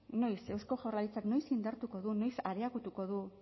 noiz eusko jaurlaritzak noiz indartuko du noiz areagotuko du